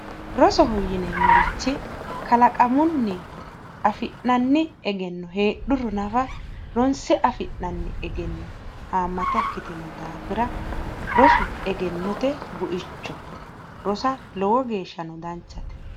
Rosoho yineemmorichi kalaqamunni afi'nanni egenno heedhuro nafa ronse afi'nanni Egenno haammata ikkitino daafira rosu egennote buichote rosa lowo geeshshano danchate.